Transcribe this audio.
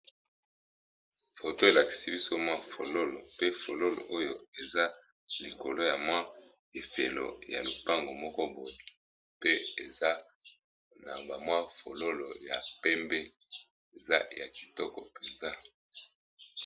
Photo elakisi biso mwa fololo pe eza likolo ya mwa lifelo ya lopango moko boye pe eza na fololo ya pembe eza kitoko penza.